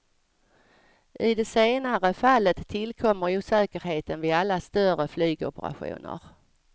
I det senare fallet tillkommer osäkerheten vid alla större flygoperationer.